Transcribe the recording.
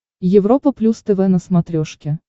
европа плюс тв на смотрешке